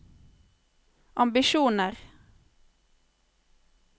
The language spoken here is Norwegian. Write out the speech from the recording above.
ambisjoner